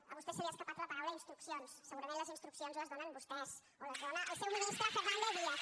a vostè se li ha escapat la paraula instruccions segurament les instruccions les donen vostès o les dóna el seu ministre fernández díaz